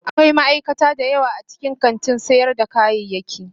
Akwai ma'aikata da yawa a cikin kantin sayar da kayayyaki.